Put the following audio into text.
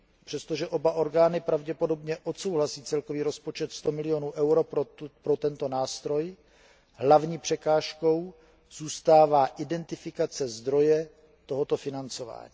Přestože oba orgány pravděpodobně odsouhlasí celkový rozpočet 100 milionů eur pro tento nástroj, hlavní překážkou zůstává identifikace zdroje tohoto financování.